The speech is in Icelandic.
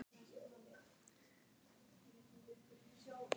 Les mig eins og opna bók.